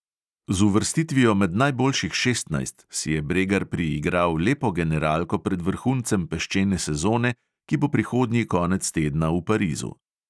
Z uvrstitvijo med najboljših šestnajst si je bregar priigral lepo generalko pred vrhuncem peščene sezone, ki bo prihodnji konec tedna v parizu.